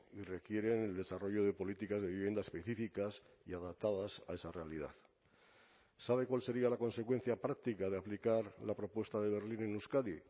y requieren el desarrollo de políticas de vivienda específicas y adaptadas a esa realidad sabe cuál sería la consecuencia práctica de aplicar la propuesta de berlín en euskadi